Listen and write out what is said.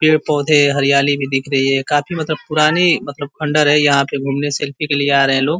पेड़-पौधे हरियाली भी दिख रही है काफी मतलब पुरानी मतलब खण्डहर है। यहाँ पे घूमने सेल्फी के लिए आ रहे हैं लोग।